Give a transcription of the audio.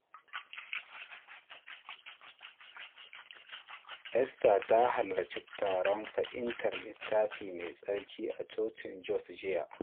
Esther ta halarci taron fahimtar Littafi Mai Tsarki a cocin Jos jiya.